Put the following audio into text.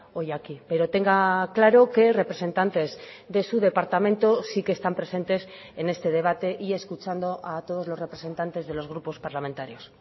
hoy aquí pero tenga claro que representantes de su departamento sí que están presentes en este debate y escuchando a todos los representantes de los grupos parlamentarios